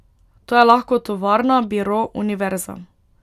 To je lahko tovarna, biro, univerza.